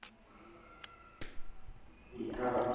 e e ka re ke